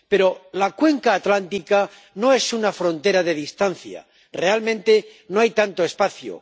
pero la cuenca atlántica no es una frontera de distancia, realmente, no hay tanto espacio.